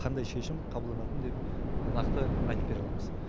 қандай шешім қабылдатынын деп нақты айтып бере аламыз